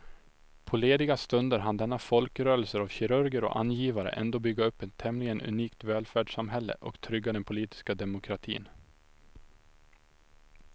På lediga stunder hann denna folkrörelse av kirurger och angivare ändå bygga upp ett tämligen unikt välfärdssamhälle och trygga den politiska demokratin.